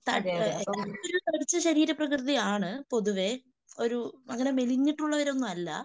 തടിച്ച ശരീരപ്രകൃതി ആണ് പൊതുവേ. ഒരു അങ്ങനെ മെലിഞ്ഞിട്ടുള്ളവരൊന്നും അല്ല